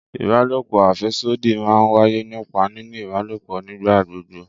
Ìbálòpò afèsódì máa ń wáyé nípa nínì ìbálòpò nígbà gbogbo